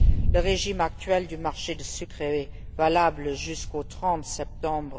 Le régime actuel du marché du sucre est valable jusqu'au 30 septembre